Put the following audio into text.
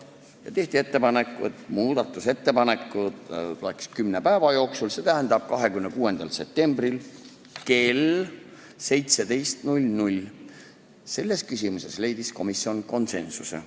Ja tehti ka ettepanek esitada muudatusettepanekud kümne päeva jooksul, st 26. septembri kell 17-ks – selles küsimuses leidis komisjon konsensuse.